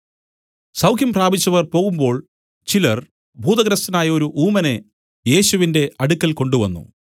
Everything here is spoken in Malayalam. സൗഖ്യം പ്രാപിച്ചവർ പോകുമ്പോൾ ചിലർ ഭൂതഗ്രസ്തനായൊരു ഊമനെ യേശുവിന്റെ അടുക്കൽ കൊണ്ടുവന്നു